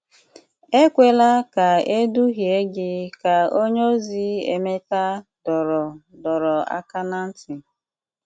Ekwela ka e duhie gị, ka onyeozi Emeka dọrọ dọrọ aka ná ntị.